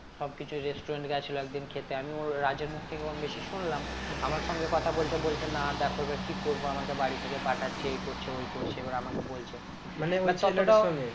সবকিছু restaurant গেছিলো একদিন খেতে আমি ওর রাজের মুখ থেকে কম বেশি শুনলাম আমার সঙ্গে কথা বলছে বলছে না দেখো এবার কি করবো আমাকে বাড়ি থেকে পাঠাচ্ছে এই করছে ওই করছে এবার আমাকে বলছে